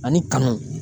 Ani kanu